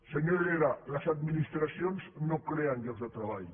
senyor herrera les administracions no creen llocs de treball